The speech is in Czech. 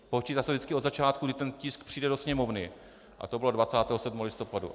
Počítá se vždycky od začátku, kdy ten tisk přijde do Sněmovny, a to bylo 27. listopadu.